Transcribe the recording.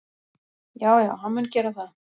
Já já, hann mun gera það.